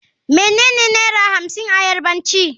Menene Naira hamsin a Yarbanci.